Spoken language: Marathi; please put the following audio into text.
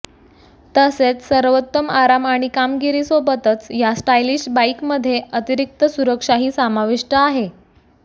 तसेच सर्वोत्तम आराम आणि कामगिरी सोबतच या स्टाईलिश बाईकमध्ये अतिरिक्त सुरक्षाही समाविष्ट आहे